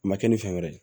A ma kɛ ni fɛn wɛrɛ ye